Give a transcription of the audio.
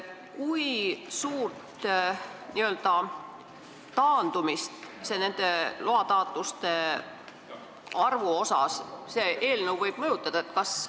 Kui suurt nende lubade taotlejate taandumist see eelnõu võib põhjustada?